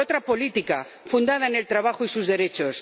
por otra política fundada en el trabajo y sus derechos